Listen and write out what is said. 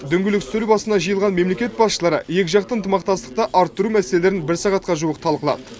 дөңгелек үстел басына жиылған мемлекет басшылары екіжақты ынтымақтастықты арттыру мәселелерін бір сағатқа жуық талқылады